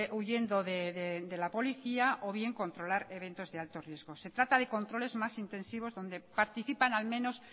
huyendo de la policía o bien controlar eventos de alto riesgo se trata de controles más intensivos donde participan al menos